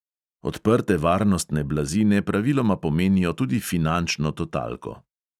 Odprte varnostne blazine praviloma pomenijo tudi finančno totalko!